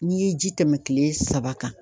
N'i ye ji tɛmɛ kile saba kan